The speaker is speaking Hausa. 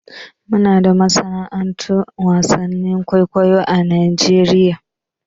Muna da masana'antun wasan kwaikwayo a Najeriya.